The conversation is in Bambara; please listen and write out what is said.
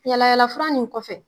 Yaala yaala fura nin kɔfɛ